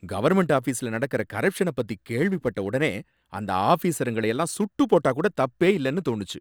Government ஆஃபீஸ்ல நடக்கிற கரப்ஷன பத்தி கேள்விப்பட்ட உடனே அந்த ஆஃபீசருங்கள எல்லாம் சுட்டு போட்டா கூட தப்பே இல்லனு தோணுச்சு.